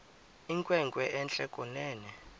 inkwenkwe entle kunene